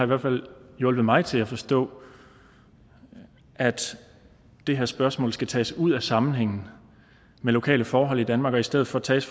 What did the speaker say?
hvert fald hjulpet mig til at forstå at det her spørgsmål skal tages ud af sammenhængen med lokale forhold i danmark og i stedet for tages